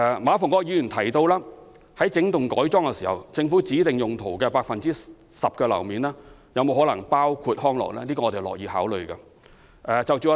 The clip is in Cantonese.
馬逢國議員提到活化整幢工廈時，政府指定用途的 10% 樓面面積可否包括康樂用途，這是我們樂意考慮的。